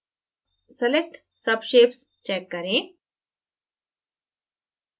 select subshapes check करें